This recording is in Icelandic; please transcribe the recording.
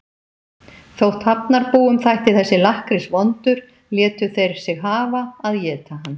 Þótt Hafnarbúum þætti þessi lakkrís vondur létu þeir sig hafa að éta hann.